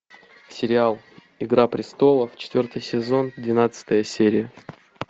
сериал игра престолов четвертый сезон двенадцатая серия